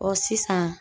Ɔ sisan